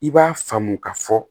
I b'a faamu ka fɔ